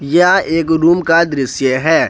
यह एक रूम का दृश्य है।